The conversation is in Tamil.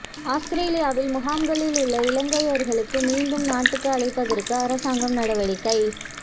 அவுஸ்திரேலியாவில் முகாம்களில் உள்ள இலங்கையர்களை மீண்டும் நாட்டுக்கு அழைப்பதற்கு அரசாங்கம் நடவடிக்கை